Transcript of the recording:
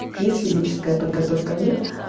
есть физическая подготовка нет